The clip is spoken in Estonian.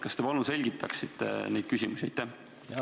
Kas te palun selgitaksite neid küsimusi?